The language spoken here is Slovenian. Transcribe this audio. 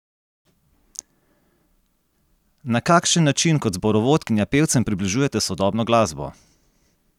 Na kakšen način kot zborovodkinja pevcem približujete sodobno glasbo?